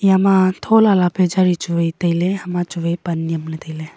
ama thola la pechei chuye tail ma chuwai pan nyem le taile.